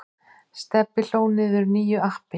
Stebbi hlóð niður nýju appi.